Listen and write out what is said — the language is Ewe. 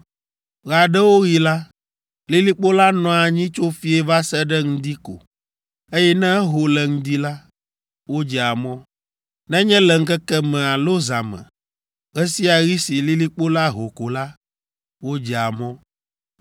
Ɣe aɖewo ɣi la, lilikpo la nɔa anyi tso fiẽ va se ɖe ŋdi ko, eye ne eho le ŋdi la, wodzea mɔ. Nenye le ŋkeke me alo zã me, ɣe sia ɣi si lilikpo la ho ko la, wodzea mɔ.